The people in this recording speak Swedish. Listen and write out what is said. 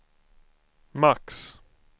max